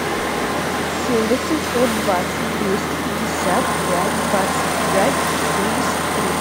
семь восемьсот двадцать двести пятьдесят пять двадцать пять семьдесят три